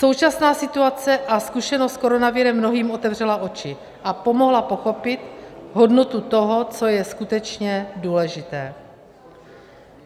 Současná situace a zkušenost s koronavirem mnohým otevřela oči a pomohla pochopit hodnotu toho, co je skutečně důležité.